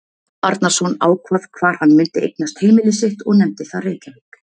Arnarson, ákvað hvar hann mundi eignast heimili sitt og nefndi það Reykjavík.